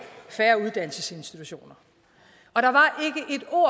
færre uddannelsesinstitutioner